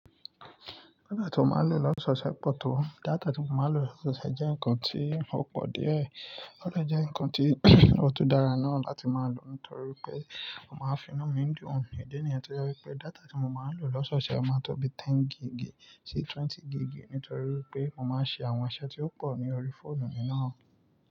Data tí mo máa ń lò lọ́ṣọ́ṣẹ́ pọ̀ tó, data tí mo máa ń lò lọ́ṣọ́ṣẹ́ jẹ́ ǹkan tí ó pọ̀ díẹ̀, ó lè jẹ́ ǹkan tí ó tun dára náà láti máa lò nítorí pé mo máa ń fínú mi dùn. Idi níyen ti o je wípé data tí mo máa ń lò lọ́ṣọ́ṣẹ́ máa ń tó bi ten gigì sí twenty gigì nítorí wípé mo máa ń ṣe àwọn iṣẹ́ tí ó pọ̀ ní orí fóònù mi náà.